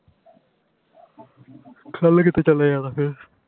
ਕਲ ਕਿਥੇ ਚਲੇ ਜਾਣਾ ਫੇਰ